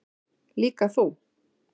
Líka þú.